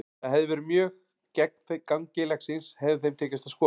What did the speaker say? Það hefði verið mjög gegn gangi leiksins hefði þeim tekist að skora.